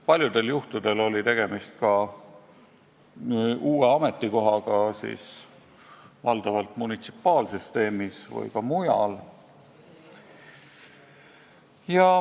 Paljudel juhtudel oli tegemist uue ametikohaga, valdavalt munitsipaalsüsteemis, aga ka mujal.